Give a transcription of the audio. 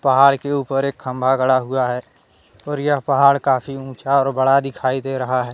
पहाड़ के ऊपर एक खंबा गड़ा हुआ है और यह पहाड़ काफी ऊंचा और बड़ा दिखाई दे रहा है।